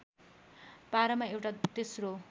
पारमा एउटा तेस्रो